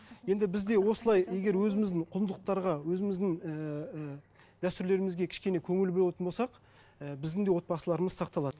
енді біз де осылай егер өзіміздің құндылықтарға өзіміздің ііі дәстүрлерімізге кішкене көңіл бөлетін болсақ і біздің де отбасыларымыз сақталады